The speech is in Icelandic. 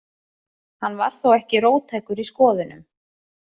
Hann var þó ekki róttækur í skoðunum.